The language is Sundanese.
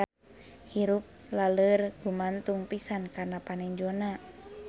Hirup laleur gumantung pisan kana panenjona.